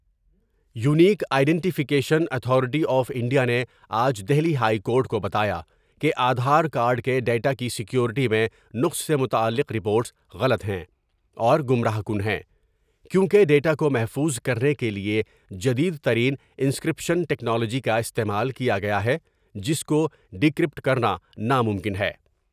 Unique identification authority of India نے آج Delhi high court کو بتایا کہ آدھار کارڈ کے ڈیٹا کی سیکوریٹی میں نق سے متعلق رپورٹس غلط ہیں اور گمراہ کن ہیں کیوں کہ ڈاٹا کومحفوظ کرنے کے لیے جدید ترین انسکر پیشن ٹکنالوجی کا استعمال کیا گیا ہے جس کو ڈی کر پٹ کرنا ناممکن ہے ۔